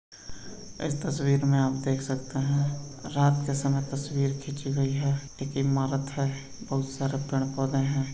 इस तस्वीर में आप देख सकते है रात के समय तस्वीर खीची गई है। एक इमारत है। बहोत सारे पेड़ पोधे हैं।